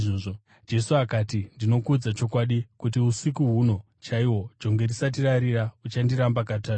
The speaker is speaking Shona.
Jesu akati, “Ndinokuudza chokwadi kuti usiku huno chaihwo, jongwe risati rarira uchandiramba katatu.”